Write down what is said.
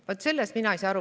Vat sellest mina ei saa aru.